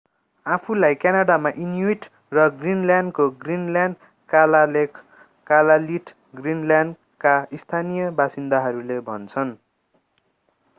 आफूलाई क्यानाडामा इनुइट र ग्रीनल्यान्डको ग्रीनल्यान्ड कालालेख कलालिट ग्रीनल्यान्डका स्थानीय बासिन्दाहरूले भन्छन्।